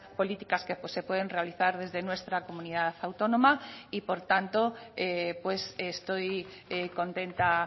políticas que se pueden realizar desde nuestra comunidad autónoma y por tanto pues estoy contenta